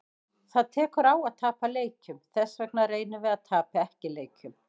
Það tekur á að tapa leikjum, þessvegna reynum við að tapa ekki leikjum.